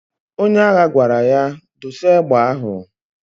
Onye agha gwara ya,"Dosa egbe ahụ!"